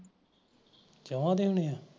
ਸਮਾ ਦੇ ਹੋਈ ਐ